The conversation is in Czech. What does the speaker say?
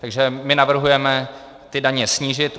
Takže my navrhujeme ty daně snížit.